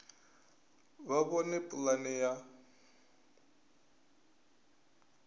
vha vhone uri pulane ya